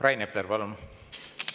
Rain Epler, palun!